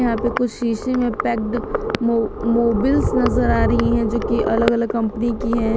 यहां पे कुछ शीशे में पैक्ड मोबिल्स नजर आ रही है जो की अलग अलग कंपनी की है।